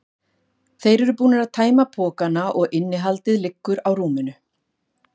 Þeir eru búnir að tæma pokana og innihaldið liggur á rúminu.